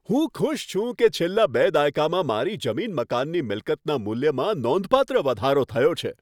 હું ખુશ છું કે છેલ્લા બે દાયકામાં મારી જમીન મકાનની મિલકતના મૂલ્યમાં નોંધપાત્ર વધારો થયો છે.